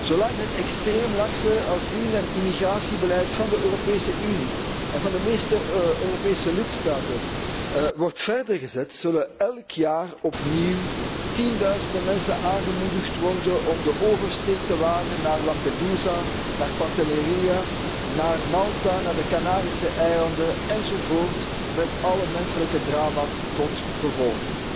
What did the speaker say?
Zolang het extreem lakse asiel en immigratiebeleid van de Europese Unie en van de meeste Europese lidstaten wordt voortgezet, zullen elk jaar opnieuw tienduizenden mensen aangemoedigd worden om de oversteek te maken naar Lampedusa, naar Pantelleria, naar Malta, naar de Canarische eilanden, enzovoort, met alle menselijke drama's tot gevolg.